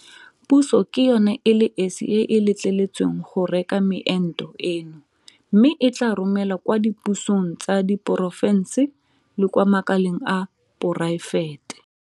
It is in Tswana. Puso ke yona e le esi e e letleletsweng go reka meento eno mme e tla e romela kwa dipusong tsa diporofense le kwa makaleng a poraefete.